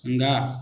Nka